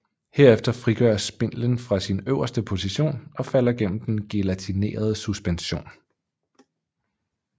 Herefter frigøres spindlen fra sin øverste position og falder gennem den gelatinerede suspension